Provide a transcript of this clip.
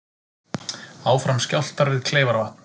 Áfram skjálftar við Kleifarvatn